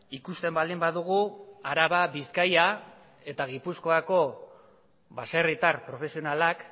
ikusten baldin badugu araba bizkaia eta gipuzkoako baserritar profesionalak